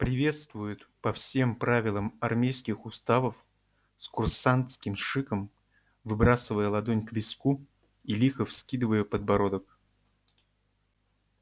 приветствуют по всем правилам армейских уставов с курсантским шиком выбрасывая ладонь к виску и лихо вскидывая подбородок